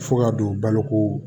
Fo ka don baloko